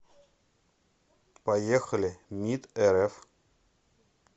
поехали мид рф